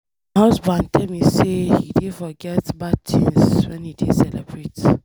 My husband tell me say he dey forget bad things wen he dey celebrate.